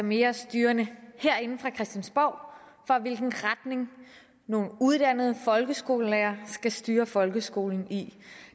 mere styrende herinde fra christiansborg for hvilken retning nogle uddannede folkeskolelærere skal styre folkeskolen i